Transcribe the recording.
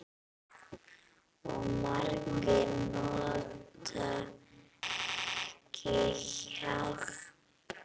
Og margir nota ekki hjálm.